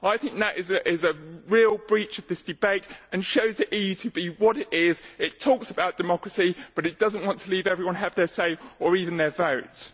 I think that is a real breach of this debate and shows the EU to be what it is it talks about democracy but it does not want to let everyone have their say or even their vote.